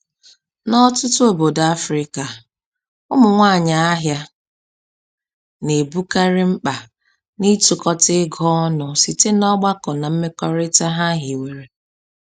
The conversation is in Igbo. N'ọtụtụ obodo Afrịka, ụmụ nwanyị ahịa na-ebukarị mkpa n'ịtukọta ego ọnụ site n'ọgbakọ na mmekọrịta ha hiwere.